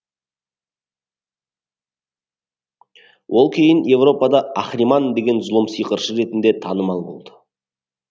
ол кейін еуропада ахриман деген зұлым сиқыршы ретінде танымал болды